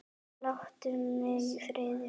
Láttu mig í friði!